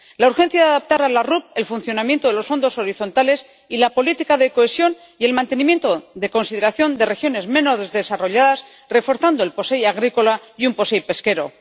la urgencia de adaptar a las RUP el funcionamiento de los fondos horizontales y la política de cohesión y el mantenimiento de consideración de regiones menos desarrolladas, reforzando el POSEI agrícola y un POSEI pesquero